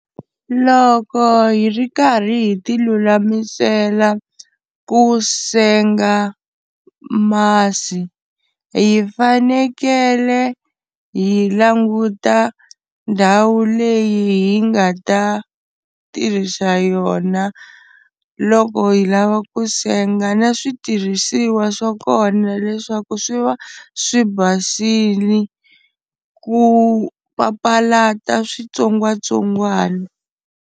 Loko hi ri karhi hi ti lulamisela ku senga masi hi fanekele hi languta ndhawu leyi hi nga ta tirhisa yona loko hi lava ku senga, na switirhisiwa swa kona leswaku swi va swi basile ku papalata switsongwatsongwana.